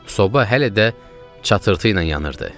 Soba hələ də çatırtı ilə yanırdı.